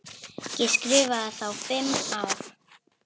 Ég skrifa þá fimm ár.